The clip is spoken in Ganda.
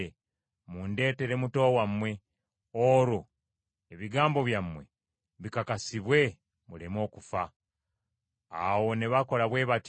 mundeetere muto wammwe, olwo ebigambo byammwe bikakasibwe muleme okufa.” Awo ne bakola bwe batyo.